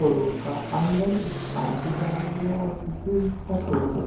showroom का अंदर एक आंटी जा रही है और पीछे इसका शोरूम --